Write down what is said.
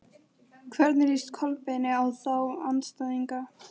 Hvernig líst Kolbeini á þá andstæðinga?